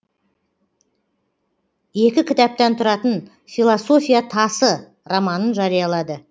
екі кітаптан тұратын философия тасы романын жариялады